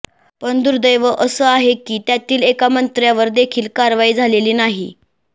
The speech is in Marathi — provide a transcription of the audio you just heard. पण दुर्देव असं आहे की त्यातील एका मंत्र्यावर देखील कारवाई झालेली नाही